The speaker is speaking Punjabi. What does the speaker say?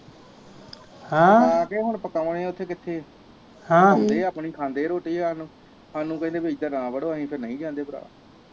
ਹਾਂ ਤੇ ਹੁਣ ਪਕਾਣੇ ਉਥੇ ਕਿੱਥੇ ਪਕਾਉਂਦੇ ਆਪਣੀ ਖਾਂਦੇ ਰੋਟੀ ਹਾਨੂੰ, ਹਾਨੂੰ ਕਹਿੰਦੇ ਭੀ ਇਧਰ ਨਾ ਵਡੋ ਆਪਾ ਫਿਰ ਨਹੀਂ ਜਾਂਦੇ ਭਰਾ